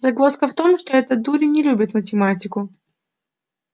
загвоздка в том что этот дурень не любит математику